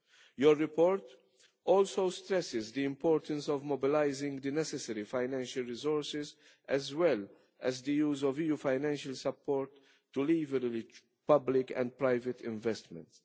Your report also stresses the importance of mobilising the necessary financial resources, as well as the use of EU financial support to leverage public and private investments.